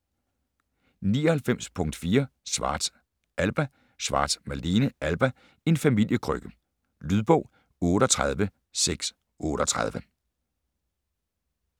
99.4 Schwartz, Alba Schwartz, Malene: Alba: en familiekrønike Lydbog 38638